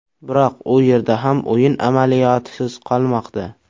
Biroq u yerda ham o‘yin amaliyotisiz qolmoqda.